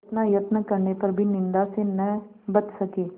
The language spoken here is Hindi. इतना यत्न करने पर भी निंदा से न बच सके